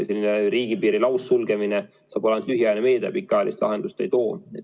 Selline riigipiiri laussulgemine saab olla ainult lühiajaline meede, pikaajalist lahendust see ei too.